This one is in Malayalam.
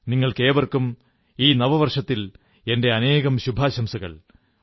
നിങ്ങൾക്കും ഈ നവവർഷത്തിൽ എന്റെ അനേകം ശുഭാശംസകൾ